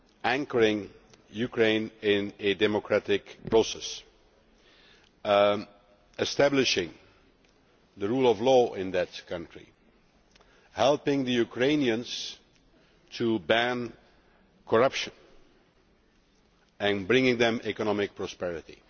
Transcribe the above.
anchoring Ukraine in a democratic process, establishing the rule of law in that country, helping the Ukrainians to ban corruption and bringing them economic prosperity,